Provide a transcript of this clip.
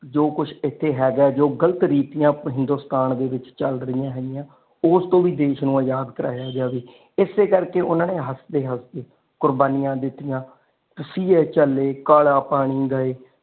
ਜੋ ਕੁਛ ਐਥੇ ਹੈਗਾ ਜੋ ਗ਼ਲਤ ਰੀਤੀਆਂ ਹਿੰਦੁਸਤਾਨ ਦੇ ਵਿਚ ਚੱਲ ਰਹੀਆਂ ਹੈਗੀਆਂ ਉਸ ਤੋਂ ਵੀ ਦੇਸ਼ ਤੋਂ ਆਜ਼ਾਦ ਕਰਵਾਇਆ ਜਾਵੇ ਇਸੇ ਕਰਕੇ ਉਹਨਾਂ ਨੇ ਹੱਸਦੇ ਹੱਸਦੇ ਕੁਰਬਾਨੀਆਂ ਦਿਤੀਆਂ ਤਸੀਹੇ ਝੱਲੇ ਕਾਲਾ ਪਾਣੀ ਗਾਏ।